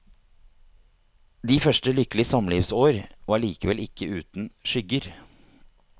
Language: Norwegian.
De første lykkelige samlivsår var likevel ikke uten skygger.